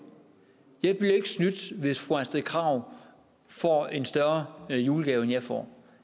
jeg bliver ikke snydt hvis fru astrid krag får en større julegave end jeg får